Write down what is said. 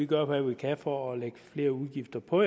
gør hvad man kan for at lægge flere udgifter på